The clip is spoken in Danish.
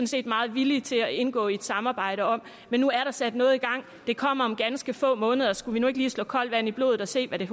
set meget villige til at indgå i et samarbejde om men nu er der sat noget i gang det kommer om ganske få måneder skulle vi nu ikke lige slå koldt vand i blodet og se hvad der